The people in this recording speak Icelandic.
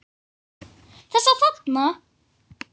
Þessa þarna!